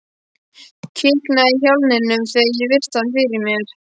Kiknaði í hnjáliðunum þegar ég virti hann fyrir mér.